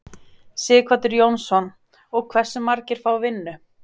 Sighvatur Jónsson: Og hversu margir fá vinnu?